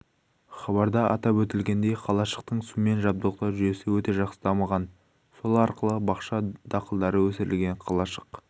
хабарда атап өтілгендей қалашықтың сумен жабдықтау жүйесі өте жақсы дамыған сол арқылы бақша дақылдары өсірілген қалашық